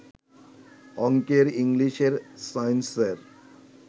অঙ্কের, ইংলিশের, সাইন্সের